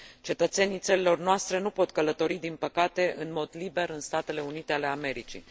Cetățenii țărilor noastre nu pot călători din păcate în mod liber în Statele Unite ale Americii.